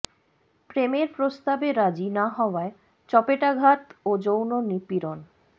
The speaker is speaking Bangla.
প্রেমের প্রস্তাবে রাজি না হওয়ায় চপেটাঘাত ও যৌন নিপীড়ন